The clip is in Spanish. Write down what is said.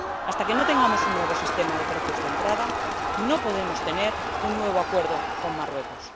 Hasta que no tengamos un nuevo sistema de precios de entrada, no podemos tener un nuevo acuerdo con Marruecos.